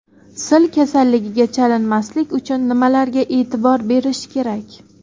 Sil kasalligiga chalinmaslik uchun nimalarga e’tibor berish kerak?